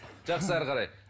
жақсы әрі қарай